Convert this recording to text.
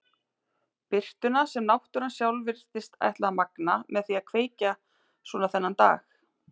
Birtuna sem náttúran sjálf virtist ætla að magna með því að kveikja svona þennan dag.